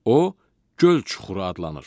O göl çuxuru adlanır.